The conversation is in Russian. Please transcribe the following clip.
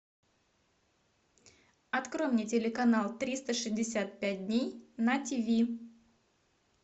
открой мне телеканал триста шестьдесят пять дней на тв